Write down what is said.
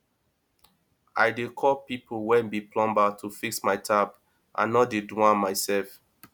i dey call pipo wey be plumber to fix my tap i no dey do am mysef